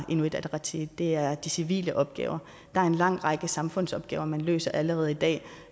inuit ataqatigiit er på de civile opgaver der er en lang række samfundsopgaver man løser allerede i dag